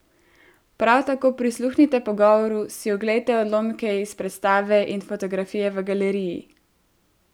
Prav tako prisluhnite pogovoru, si oglejte odlomke iz predstave in fotografije v galeriji!